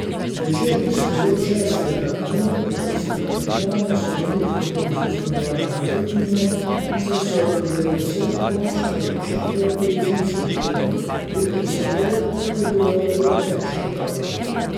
Večerni spored šestega dne atletskega tekmovanja so v veliki meri zaznamovale atletinje, saj so bile vse končne odločitve v ženskem delu, veliko slavje pa je bilo v ameriškem taboru.